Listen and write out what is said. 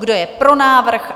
Kdo je pro návrh?